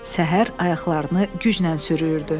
Səhər ayaqlarını güclə sürüyürdü.